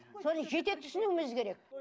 соны жете түсінуіміз керек